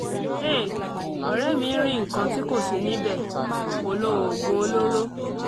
hey! ọ̀rẹ́ mi ń rí nǹkan tí kò sí níbẹ̀ (kò lo oògùn olóró)